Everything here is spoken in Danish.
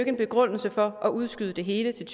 en begrundelse for at udskyde det hele til